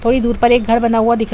थोड़ी दूर पर एक घर बना हुआ दिख र --